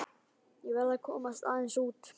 Ég verð að komast aðeins út.